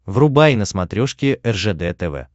врубай на смотрешке ржд тв